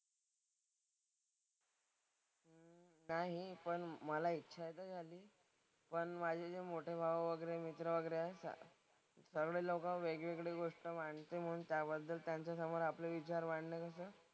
नाही. पण मला इच्छा तर आहे. पण माझे जे मोठे भाऊ वगैरे मित्र वगैरे आहेत सगळी लोकं वेगवेगळीच गोष्ट मांडते म्हणून त्याबद्दल त्यांच्यासमोर आपले विचार मांडण्यापेक्षा,